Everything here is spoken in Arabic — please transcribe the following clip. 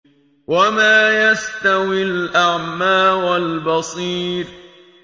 وَمَا يَسْتَوِي الْأَعْمَىٰ وَالْبَصِيرُ